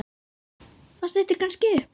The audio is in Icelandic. Það styttir kannski upp.